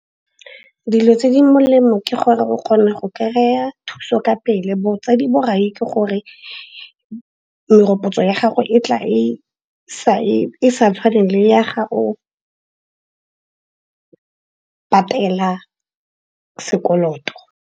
Dilo tse di molemo ke gore o kgona go kry-a thuso ka pele. Botsadi borai ke gore merokotso ya gago e tla e sa tshwane le ya ga o patela sekoloto.